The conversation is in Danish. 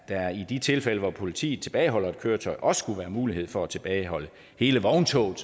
der i de tilfælde hvor politiet tilbageholder et køretøj også skulle være mulighed for at tilbageholde hele vogntoget